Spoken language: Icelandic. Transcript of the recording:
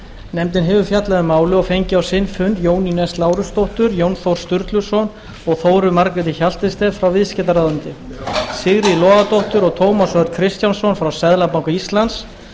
nefndin hefur fjallað um málið og fengið á sinn fund jónínu s lárusdóttur jón þór sturluson og þóru margréti hjaltested frá viðskiptaráðuneytinu sigríði logadóttur og tómas örn kristjánsson frá seðlabanka íslands